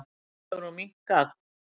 Nú hefur hún minnkað.